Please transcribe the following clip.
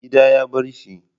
Gida ya barshi.